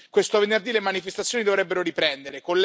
Questo venerdì, le manifestazioni dovrebbero riprendere.